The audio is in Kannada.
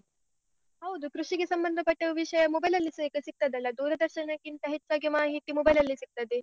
ಹೌದು, ಕೃಷಿಗೆ ಸಂಬಂಧ ಪಟ್ಟ ವಿಷ್ಯ mobile ಅಲ್ಲಿಸ ಈಗ ಸಿಗ್ತದಲ್ಲ ಈಗ, ದೂರದರ್ಶನಕ್ಕಿಂತ ಹೆಚ್ಚಾಗಿ ಮಾಹಿತಿ mobile ಅಲ್ಲಿ ಸಿಗ್ತದೆ.